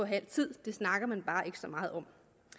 halv tid det snakker man bare ikke så meget om